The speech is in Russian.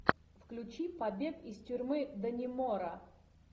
включи побег из тюрьмы даннемора